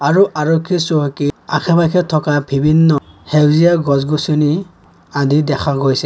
আৰু আৰক্ষী চহকীৰ আশে-পাশে থকা বিভিন্ন সেউজীয়া গছ-গছনি আদি দেখা গৈছে।